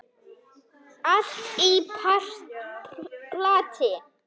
Allt í plati.